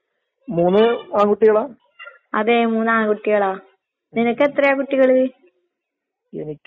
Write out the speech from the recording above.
മൂല്യം ഒണ്ട്. പക്ഷെ എനക്ക് ഡിഗ്രിക്ക് പോവാൻ താല്പര്യം ഇല്ലാഞ്ഞിട്ടാണ്. അത് മൂന്ന് കൊല്ലോം പഠിച്ചിട്ട് അധികം പഠിക്കാന്ള്ളയൊരു ഇതില്ല.